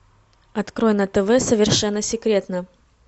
открой на тв совершенно секретно